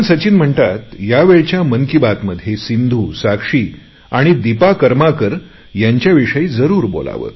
सचिन म्हणतात या वेळच्या मन की बातमध्ये सिंधु साक्षी आणि दीपा कर्माकर यांच्याविषयी जरुर बोलावे